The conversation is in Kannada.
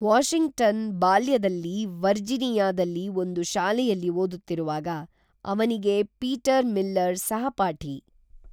ವಾಷಿಂಗ್ಟನ್ ಬಾಲ್ಯದಲ್ಲಿ ವರ್ಜೀನಿಯಾದಲ್ಲಿ ಒಂದು ಶಾಲೆಯಲ್ಲಿ ಓದುತ್ತಿರುವಾಗ ಅವನಿಗೇ ಪೀಟರ್ ಮಿಲ್ಲರ್ ಸಹಪಾಠಿ